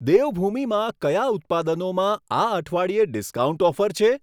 દેવભૂમિ માં કયા ઉત્પાદનોમાં આ અઠવાડિયે ડિસ્કાઉન્ટ ઓફર છે?